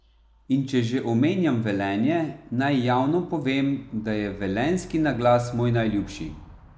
In če že omenjam Velenje, naj javno povem, da je velenjski naglas moj najljubši.